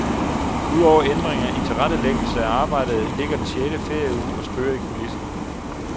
Ud over ændringer i tilrettelæggelse af arbejdet ligger den sjette ferieuge og spøger i kulissen.